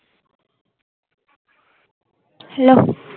hello